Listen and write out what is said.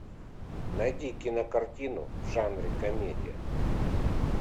найди кинокартину в жанре комедия